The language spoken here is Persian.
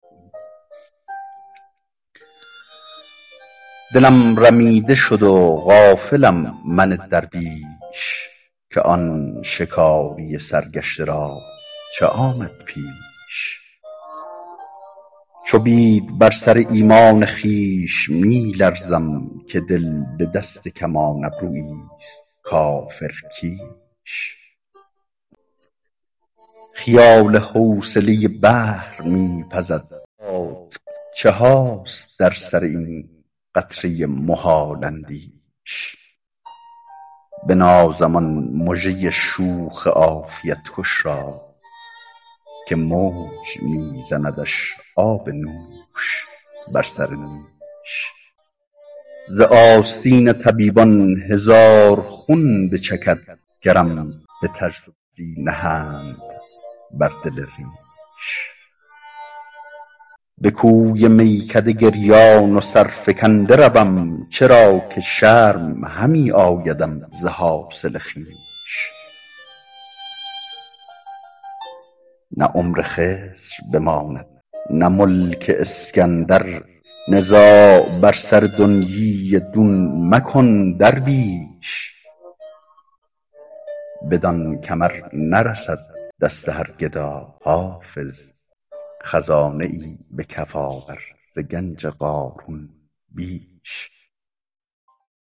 دلم رمیده شد و غافلم من درویش که آن شکاری سرگشته را چه آمد پیش چو بید بر سر ایمان خویش می لرزم که دل به دست کمان ابرویی ست کافرکیش خیال حوصله بحر می پزد هیهات چه هاست در سر این قطره محال اندیش بنازم آن مژه شوخ عافیت کش را که موج می زندش آب نوش بر سر نیش ز آستین طبیبان هزار خون بچکد گرم به تجربه دستی نهند بر دل ریش به کوی میکده گریان و سرفکنده روم چرا که شرم همی آیدم ز حاصل خویش نه عمر خضر بماند نه ملک اسکندر نزاع بر سر دنیی دون مکن درویش بدان کمر نرسد دست هر گدا حافظ خزانه ای به کف آور ز گنج قارون بیش